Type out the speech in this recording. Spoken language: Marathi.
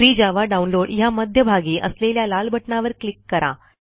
फ्री जावा डाउनलोड ह्या मध्यभागी असलेल्या लाल बटणावर क्लिक करा